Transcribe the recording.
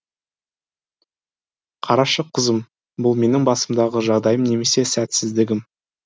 қарашы қызым бұл менің басымдағы жағдайым немесе сәтсіздігім